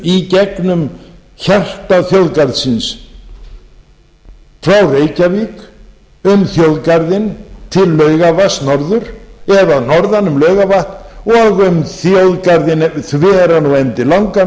í gegnum hjarta þjóðgarðsins frá reykjavík um þjóðgarðinn til laugarvatns norður og að norðan um laugarvatn og um þjóðgarðinn þveran og endilangan